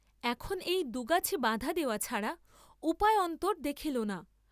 এখন এই দুগাছি বাঁধা দেওয়া ছাড়া উপায়ান্তর দেখিল না।